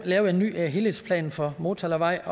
lavet en ny helhedsplan for motalavej